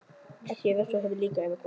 Átti að refsa honum líka, eða hvað?